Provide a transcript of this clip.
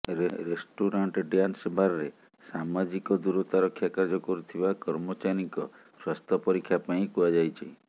restaurant dance ବାର୍ରେ ସାମାଜିକ ଦୂରତା ରକ୍ଷା କାର୍ଯ୍ୟ କରୁଥିବା କର୍ମଚାରୀଙ୍କ ସ୍ୱାସ୍ଥ୍ୟ ପରୀକ୍ଷା ପାଇଁ କୁହାଯାଇଛି